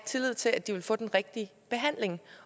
tillid til at de vil få den rigtige behandling